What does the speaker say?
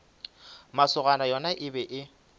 masogana yona e be e